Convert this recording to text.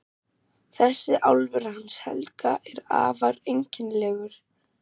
Þessi álfur hans Helga er afar einkennilegur.